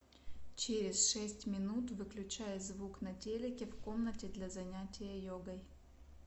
через шесть минут выключай звук на телике в комнате для занятия йогой